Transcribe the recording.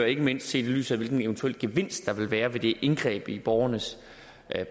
ikke mindst set i lyset af hvilken eventuel gevinst der vil være ved det indgreb i borgernes